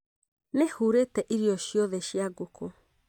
Nĩ hũrete irio ciothe cia ngũkũ